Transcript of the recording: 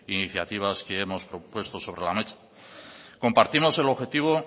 iniciativas que hemos propuesto sobre la mesa compartimos el objetivo